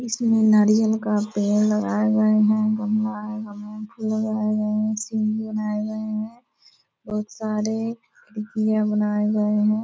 इसमें नारियल का पेड़ लगाये गये हैं | गमला है गमले में फूल लगाये गये हैं सीढ़ी बनाए गये हैं बहुत सारे खिड़कियाँ बनाये गये हैं |